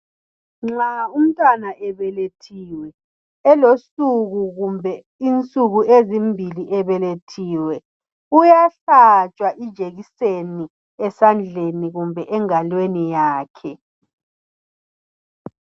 Nxa umntwana ebelethiwe, elosuku kumbe insuku ezimbili ebelethiwe, uyahlatshwa ijekiseni esandleni kumbe engalweni yakhe.